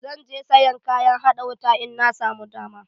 Zan je sayan kayan haɗa wuta in na samu dama.